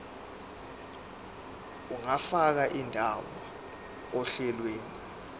ungafaka indawo ohlelweni